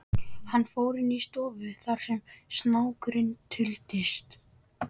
Hann fór inn í stofuna þar sem snákurinn duldist.